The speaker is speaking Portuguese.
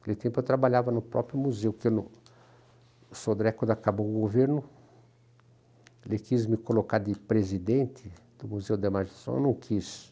Naquele tempo eu trabalhava no próprio museu, porque no o Sodré, quando acabou o governo, ele quis me colocar de presidente do Museu da Magistração, eu não quis.